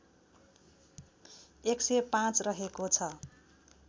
१०५ रहेको छ